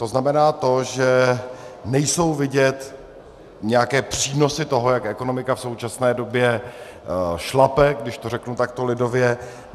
To znamená to, že nejsou vidět nějaké přínosy toho, jak ekonomika v současné době šlape, když to řeknu takto lidově.